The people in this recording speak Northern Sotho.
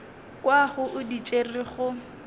kwago o di tšere go